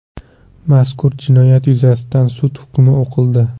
Mazkur jinoyat yuzasidan sud hukmi o‘qildi.